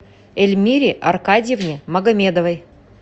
эльмире аркадьевне магомедовой